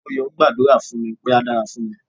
Moyo gbàdúrà fún mi pé á dára fún mi.